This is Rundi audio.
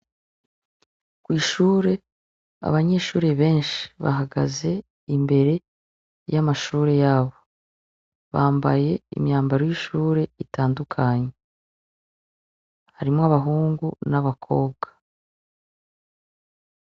Kw'ishure , abanyeshure benshi bahagaze imbere y'amashure yabo , bambaye imyambaro y'ishure itandukanye harimwo abahungu n'abakobwa .